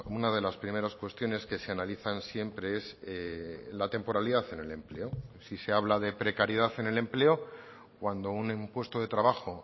una de las primeras cuestiones que se analizan siempre es la temporalidad en el empleo si se habla de precariedad en el empleo cuando un puesto de trabajo